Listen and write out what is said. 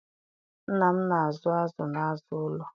Nna m na-azụ azụ n'azụ ụlọ